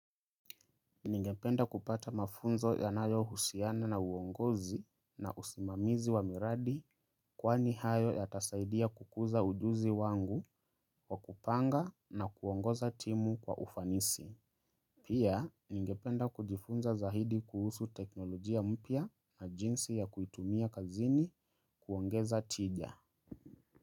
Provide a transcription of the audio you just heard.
Ningependa kupata mafunzo yanayo husiana na uongozi na usimamizi wa miradi kwani hayo ya tasaidia kukuza ujuzi wangu wa kupanga na kuongoza timu kwa ufanisi. Pia, ningependa kujifunza zaidi kuhusu teknolojia mpya na jinsi ya kuitumia kazini kuongeza tija.